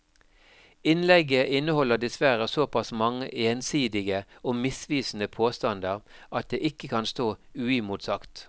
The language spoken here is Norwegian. Innlegget inneholder dessverre såpass mange ensidige og misvisende påstander at det ikke kan stå uimotsagt.